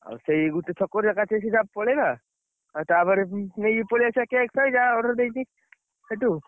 ଆଉ ସେଇ ଗୋଟେ ଛକରେ ଏକାଥରେ ସିଧା ପଳେଇବା। ଆଉ ତାପରେ ଯାଇକି ନେଇ ପଳେଇଆସିବା cake ଫେକ ଯାହା order ଦେଇଛି, ସେଠୁ।